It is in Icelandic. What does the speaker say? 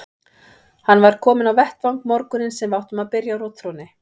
Hann var kominn á vettvang morguninn sem við áttum að byrja á rotþrónni.